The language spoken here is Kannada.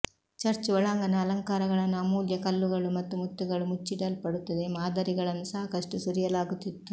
ಚರ್ಚ್ ಒಳಾಂಗಣ ಅಲಂಕಾರಗಳನ್ನು ಅಮೂಲ್ಯ ಕಲ್ಲುಗಳು ಮತ್ತು ಮುತ್ತುಗಳು ಮುಚ್ಚಲ್ಪಡುತ್ತದೆ ಮಾದರಿಗಳನ್ನು ಸಾಕಷ್ಟು ಸುರಿಯಲಾಗುತ್ತಿತ್ತು